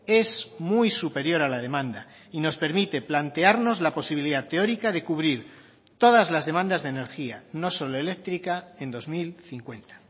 es muy superior a la demanda y nos permite plantearnos la posibilidad teórica de cubrir todas las demandas de energía no solo eléctrica en dos mil cincuenta